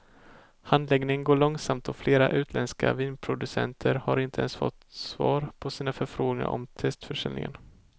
Handläggningen går långsamt och flera utländska vinproducenter har inte ens fått svar på sina förfrågningar om testförsäljningen.